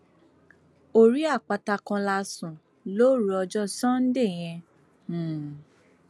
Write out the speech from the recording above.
orí àpáta kan la sùn lóru ọjọ sànńdẹ yẹn um